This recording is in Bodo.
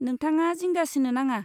नोंथाङा जिंगा सिनो नाङा।